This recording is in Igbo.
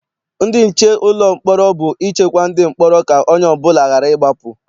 Ndị nche ụlọ mkpọrọ bụ ichekwa ndị mkpọrọ ka onye ọbụla ghara ịgbapụ.